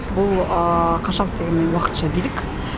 бұл қаншалықты дегенмен уақытша билік